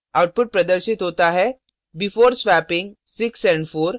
output प्रदर्शित होता है before swapping 6 and 4